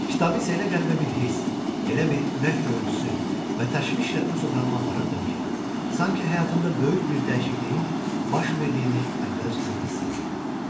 Kitabı isə elə qəribə bir hiss, elə bir ürək döyüntüsü və təşvişlə öz otağıma aparırdım ki, sanki həyatımda böyük bir dəyişikliyin baş verdiyini əvvəlcədən hiss eləyirdim.